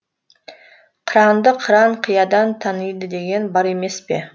қыранды қыран қиядан таниды деген бар емес пе